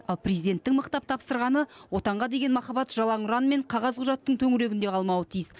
ал президенттің мықтап тапсырғаны отанға деген махаббат жалаң ұран мен қағаз құжаттың төңірегінде қалмауы тиіс